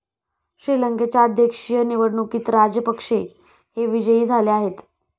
श्रीलंकेच्या अध्यक्षीय निवडणुकीत राजेपक्षे हे विजयी झाले आहेत.